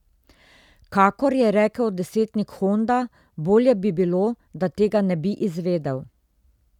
Kakor je rekel desetnik Honda, bolje bi bilo, da tega ne bi izvedel.